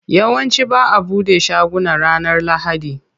Yawanci ba'a bude shaguna ranar lahadi.